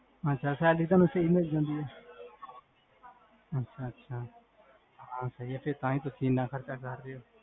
ਅਛਾ salary ਤੁਹਾਨੂ ਸਹੀ ਮਿਲ੍ਜਾਂਦੀ ਆ? ਅਛਾ ਅਛਾ, ਹਾਂ ਸਹੀ ਆ ਤਾਹੀਂ ਤੁਸੀਂ ਇੰਨਾ ਖਰਚਾ ਕਰ ਰਹੇ ਹੋ